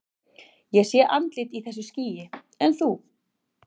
Ég sé andlit í þessu skýi, en þú?